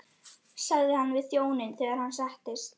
sagði hann við þjóninn þegar hann settist.